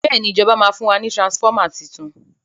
béèni ìjọba ma fún wa ní transformer títún